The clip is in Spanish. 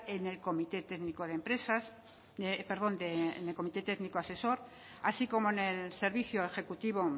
en el comité técnico de empresas perdón en el comité técnico asesor así como en el servicio ejecutivo